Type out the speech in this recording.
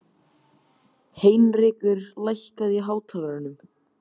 Heinrekur, lækkaðu í hátalaranum.